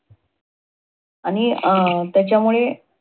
आणि अं त्याच्यामुळे